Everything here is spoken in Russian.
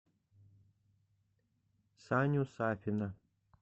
саню сафина